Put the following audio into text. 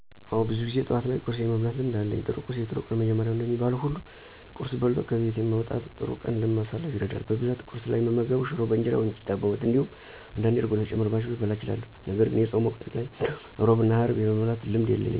አወ ብዙ ጊዜ ጠዋት ላይ ቁርስ የመብላት ልምድ አለኝ። ጥሩ ቁርስ የጥሩ ቀን መጀመሪያ ነው እንደሚባለው ሁሉ ቁርስ በልቶ ከቤት መውጣት ጥሩ ቀን ለማሳለፍ ይረዳል። በብዛት ቁርስ ላይ እምመገበው ሽሮ በእንጀራ ወይም ቂጣ በወጥ እንዲሁም አንዳንዴ እርጎ ተጨምሮባቸው ልበላ እችላለሁ። ነገርግን የፆም ወቅት ላይ እንዲሁም ሕሮብ እና ሀርብ የመብላት ልምዱ የለኝም።